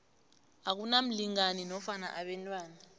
akunamlingani nofana abantwana